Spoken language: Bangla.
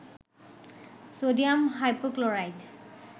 sodium hypochlorite